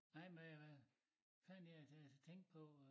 Nej men jeg fanden jeg til at tænke på øh